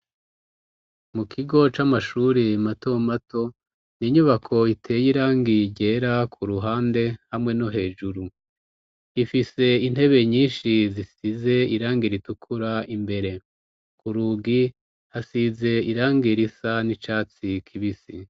Mu kigo c'amashuri matomato ninyubako iteye irangiye yera ku ruhande hamwe no hejuru ifise intebe nyinshi zisize irangi ritukura imbere ku rugi hasize irangir isa n'icatsi kibisi.